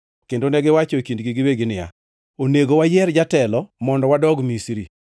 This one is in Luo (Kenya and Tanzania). Kendo negiwacho e kindgi giwegi niya, “Onego wayier jatelo mondo wadog Misri.”